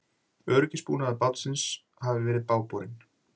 Öryggisbúnaður bátsins hafi verið bágborinn